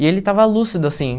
E ele estava lúcido, assim.